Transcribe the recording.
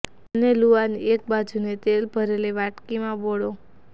બંને લૂઆની એક એક બાજુને તેલ ભરેલી વાડકીમાં બોળો